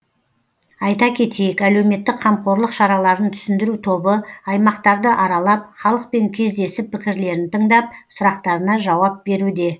айта кетейік әлеуметтік қамқорлық шараларын түсіндіру тобы аймақтарды аралап халықпен кездесіп пікірлерін тыңдап сұрақтарына жауап беруде